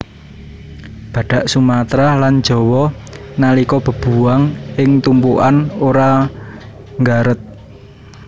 Badhak Sumatra lan Jawa nalika bebuwang ing tumpukan ora nggaret